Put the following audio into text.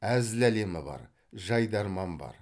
әзіл әлемі бар жайдарман бар